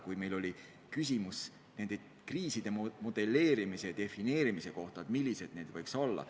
Siin ju kõlas küsimus võimalike kriiside modelleerimise, defineerimise kohta – millised need võiks olla.